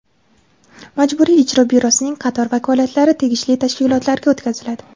Majburiy ijro byurosining qator vakolatlari tegishli tashkilotlarga o‘tkaziladi.